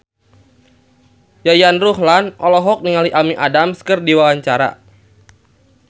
Yayan Ruhlan olohok ningali Amy Adams keur diwawancara